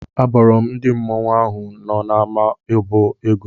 Abọrọ m ndị mmọnwụ ahụ nọ n'ama obo ego.